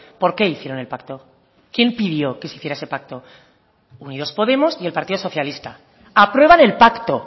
por qué hicieron el pacto quién pidió que se hiciera ese pacto unidos podemos y el partido socialista aprueban el pacto